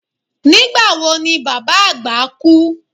Nígbà wo ni baba agba kú?